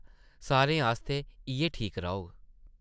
सारें आस्तै इʼयै ठीक रौह्ग ।